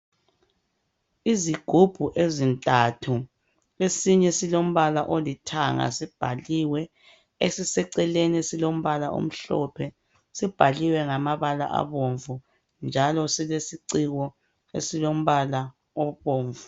Izigubhu ezintathu esinye silombala olithanga sibhaliwe esiseceleni silombala omhlophe sibhaliwe ngamabala abomvu njalo silesiciko esilombala obomvu.